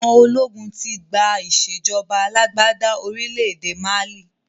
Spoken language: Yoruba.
Àwọn ológun tí gbà ìsèjọba alàgbàda orílẹ̀ èdè Málí